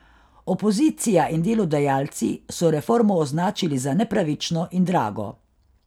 Opozicija in delodajalci so reformo označili za nepravično in drago.